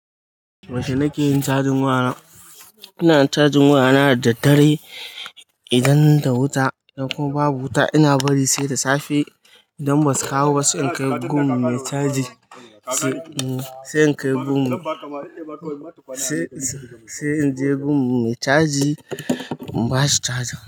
Yaushe nake yin cajin waya na. Ina cajin waya na da dare idan da wuta ko babu wuta. Ina bari sai da safe idan ba su kawo sai in kai gun me caji. Sai in je gun me caji, in bashi caja.